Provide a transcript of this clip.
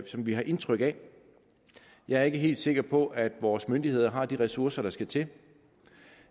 som vi har indtryk af jeg er ikke helt sikker på at vores myndigheder har de ressourcer der skal til